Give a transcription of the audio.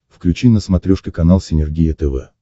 включи на смотрешке канал синергия тв